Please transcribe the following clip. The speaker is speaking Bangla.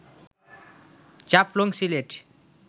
জাফলং সিলেট